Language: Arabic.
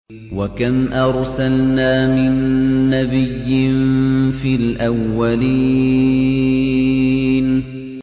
وَكَمْ أَرْسَلْنَا مِن نَّبِيٍّ فِي الْأَوَّلِينَ